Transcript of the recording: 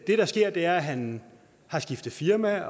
det der sker er at han har skiftet firma